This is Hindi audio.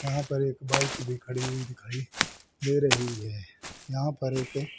यहां पर एक बाइक भी खड़ी हुई दिखाई दे रही हैं। यहां पर एक--